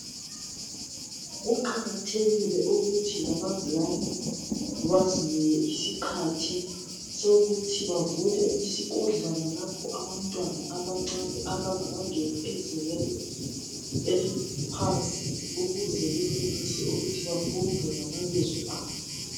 Kuqakathekile ukuthi labazali bazinike isikhathi sokuthi bavule isikodlwana lapho abantwana abancane abangakangeni ezingeni eliphansi ukuze benelise ukuthi bafunde lamabizo abo .